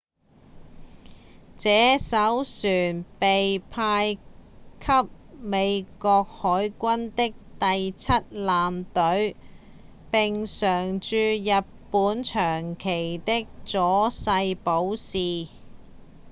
這艘船被派給美國海軍的第七艦隊並常駐日本長崎的佐世保市